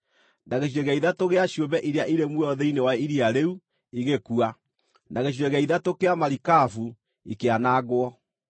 na gĩcunjĩ gĩa ithatũ gĩa ciũmbe iria irĩ muoyo thĩinĩ wa iria rĩu igĩkua, na gĩcunjĩ gĩa ithatũ kĩa marikabu ikĩanangwo.